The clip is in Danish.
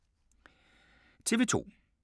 TV 2